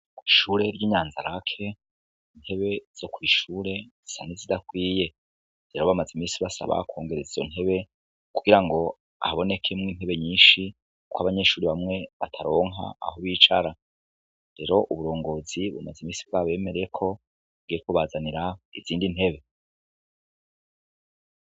Ko ishure ry'inyanzarake ntebe zo kwishure zisane zidakwiye rero bamaze imisi basaba kwongerezzo ntebe kugira ngo ahabonekemwo intebe nyinshi, kuko abanyeshuri bamwe bataronka aho bicara rero uburongozi buamaze imisi bwa bemereeko ngekubazanira izindi ntebe.